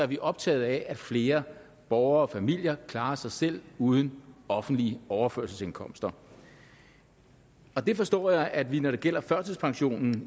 vi optaget af at flere borgere og familier klarer sig selv uden offentlige overførselsindkomster det forstår jeg at vi i når det gælder førtidspensionen